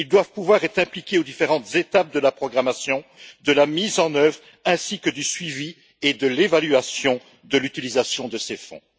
Ils doivent pouvoir être associés aux différentes étapes de la programmation, de la mise en œuvre ainsi que du suivi et de l'évaluation de l'utilisation de ces fonds.